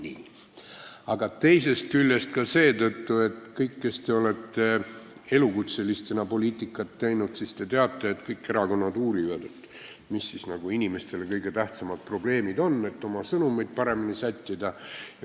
See teeb head meelt teisest küljest ka seetõttu, et kõik, kes te olete elukutselistena poliitikat teinud, te teate, et kõik erakonnad uurivad, mis inimeste kõige tähtsamad probleemid on, et saaks oma sõnumeid paremini sättida.